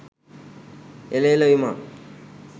එල එළ විමා